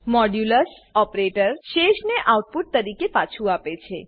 modulus operator શેષને output તરીકે પાછું આપે છે